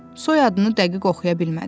Soyadını dəqiq oxuya bilmədi.